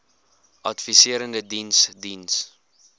adviserende diens diens